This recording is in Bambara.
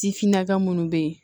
Ti finna ka minnu bɛ yen